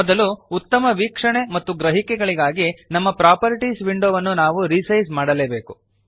ಮೊದಲು ಉತ್ತಮ ವೀಕ್ಷಣೆ ಮತ್ತು ಗ್ರಹಿಕೆಗಳಿಗಾಗಿ ನಮ್ಮ ಪ್ರಾಪರ್ಟೀಸ್ ವಿಂಡೋವನ್ನು ನಾವು ರಿಸೈಜ್ ಮಾಡಲೇಬೇಕು